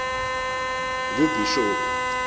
ngubhishophu